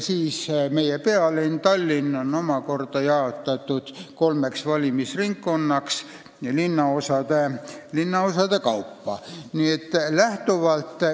Meie pealinn Tallinn on omakorda jaotatud kolmeks valimisringkonnaks linnaosade kaupa.